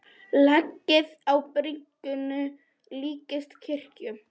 Lagið á byrginu líkist kirkju.